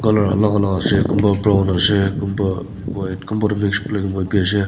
color alak alak ase kunba brown ase kunba white kunba tu tho mix black and white ase.